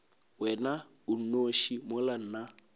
wena o nnoši mola nna